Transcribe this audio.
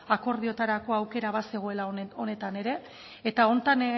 akordiotarako aukera bazegoela honetan ere eta honetan